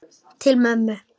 Til mömmu.